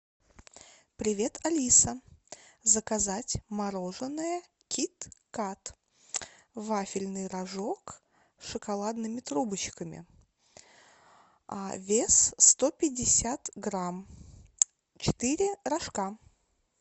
привет алиса заказать мороженое кит кат вафельный рожок с шоколадными трубочками вес сто пятьдесят грамм четыре рожка